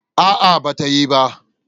A'a, ba ta yi ba.